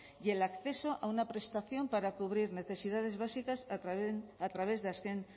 y el acceso a una prestación para cubrir necesidades básicas a través de azken